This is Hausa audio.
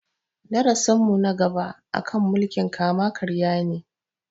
Darasin mu na gaba a kan mulkin kama karya ne